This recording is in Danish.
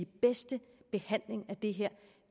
bedste behandling af